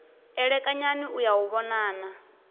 elekanyani u ya u vhonana